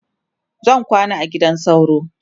zan kwana a gidan sauro